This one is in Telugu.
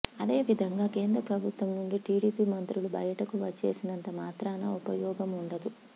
అదే విధంగా కేంద్ర ప్రభుత్వం నుండి టిడిపి మంత్రులు బయటకు వచ్చేసినంత మాత్రనా ఉపయోగమూ ఉండదు